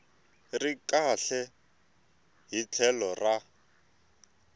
ri kahle hi tlhelo ra